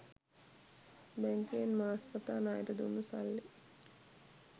බැංකුවෙන් මාස් පතා ණයට දුන්නු සල්ලි